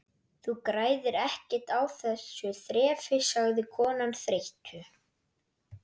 Þú græðir ekkert á þessu þrefi sagði konan þreytu